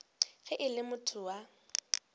ge e le motho wa